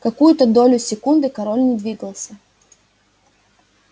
какую-то долю секунды король не двигался